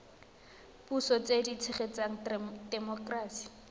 puso tse di tshegetsang temokerasi